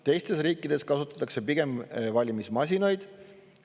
Teistes riikides kasutatakse pigem valimismasinaid.